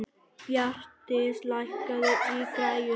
Bjarndís, lækkaðu í græjunum.